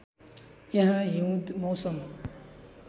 यहाँ हिउँद मौसम